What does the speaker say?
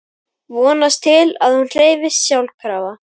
Vonast til að hún hreyfist sjálfkrafa.